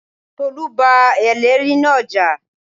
Tolú bá ẹlẹ́ẹ̀rí náà jà